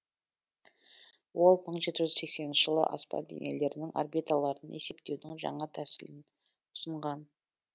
ол мың жеті жүз сексенінші жылы аспан денелерінің орбиталарын есептеудің жаңа тәсілін ұсынған